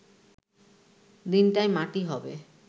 দিনটাই মাটি হবে